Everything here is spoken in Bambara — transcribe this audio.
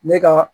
Ne ka